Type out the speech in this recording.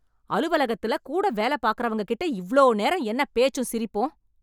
அலுவலகத்தில கூட வேல பாக்கிறவங்ககிட்ட இவ்ளோ நேரம் என்ன பேச்சும் சிரிப்பும்?